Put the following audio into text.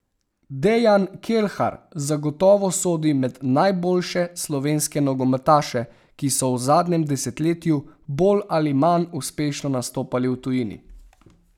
Dejan Kelhar zagotovo sodi med najboljše slovenske nogometaše, ki so v zadnjem desetletju bolj ali manj uspešno nastopali v tujini.